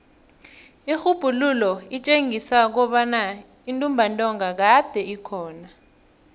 irhubhululo litjengisa kobana intumbantonga kade ikhona